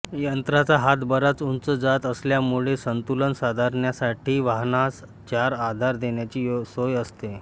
यंत्राचा हात बराच उंच जात असल्यामुळे संतुलन साधण्यासाठी वाहनास चार आधार देण्याची सोय असते